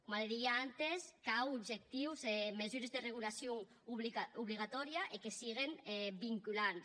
coma li didia abantes cau objectius mesures de regulacion obligatòria e que siguen vinculantes